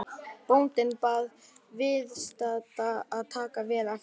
Bóndinn bað viðstadda að taka vel eftir.